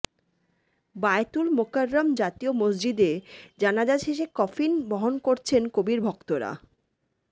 বায়তুল মোকাররম জাতীয় মসজিদে জানাজা শেষে কফিন বহন করছেন কবির ভক্তরা